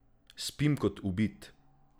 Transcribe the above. Spim kot ubit!